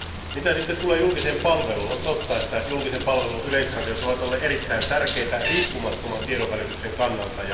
Mitä sitten tulee julkiseen palveluun, on totta, että julkisen palvelun yleisradiot ovat olleet erittäin tärkeitä riippumattoman tiedonvälityksen kannalta.